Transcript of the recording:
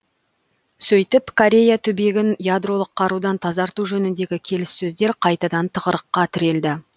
сөйтіп корея түбегін ядролық қарудан тазарту жөніндегі келіссөздер қайтадан тығырыққа тірелді